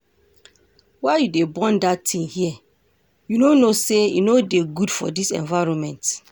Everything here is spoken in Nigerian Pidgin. Why you dey burn dat thing here? You no know say e no dey good for dis environment